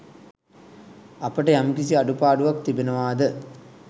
අපට යම්කිසි අඩුපාඩුවක් තිබෙනවාද